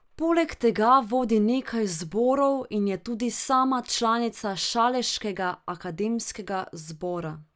Poleg tega vodi nekaj zborov in je tudi sama članica Šaleškega akademskega zbora.